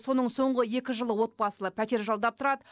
соның соңғы екі жылы отбасылы пәтер жалдап тұрады